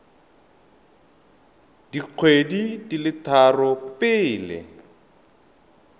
dikgwedi di le tharo pele